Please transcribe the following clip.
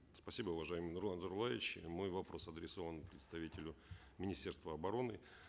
спасибо уважаемый нурлан зайроллаевич мой вопрос адресован представителю министерства обороны